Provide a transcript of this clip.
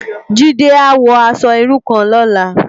Jide á wò aṣò irú kán lòlá